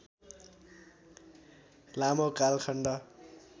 लामो कालखण्ड